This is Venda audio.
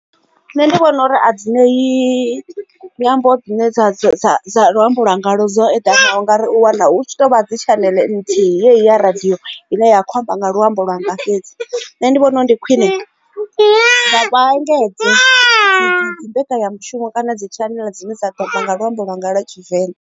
Nṋe ndi vhona uri a dzinei nyambo dzine dza dza dza dza luambo lwa ngalo dzo eḓanaho ngauri u wana hu tshi tovha dzi tshaneḽe nthihi ya radio ine ya kho khou amba nga luambo lwanga fhedzi nṋe ndi vhona ndi khwine engedza mbekanya mushumo kana dzi tshaneḽe dzine dza tapa nga luambo lwa nga lwa tshivenḓa.